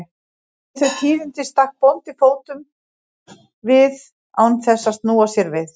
Við þau tíðindi stakk bóndi við fótum án þess að snúa sér við.